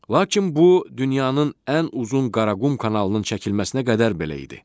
Lakin bu dünyanın ən uzun Qaraqum kanalının çəkilməsinə qədər belə idi.